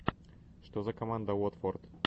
что за команда уотфорд